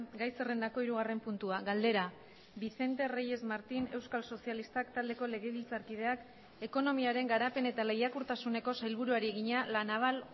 gai zerrendako hirugarren puntua galdera vicente reyes martín euskal sozialistak taldeko legebiltzarkideak ekonomiaren garapen eta lehiakortasuneko sailburuari egina la naval